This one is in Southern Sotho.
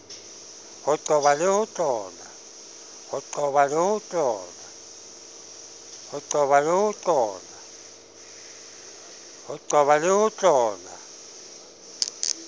ho qoba le ho tlola